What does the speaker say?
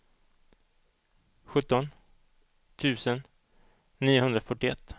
sjutton tusen niohundrafyrtioett